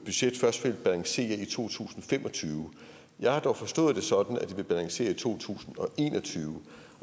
budget først ville balancere i to tusind og fem og tyve jeg har dog forstået det sådan at det vil balancere i to tusind og en og tyve